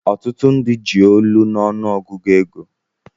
Otutu ndi ji olu na ọnụ ogụgụ ego.